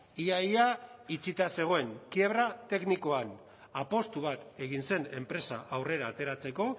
ia ia itxita zegoen kiebra teknikoan apustu bat egin zen enpresa aurrera ateratzeko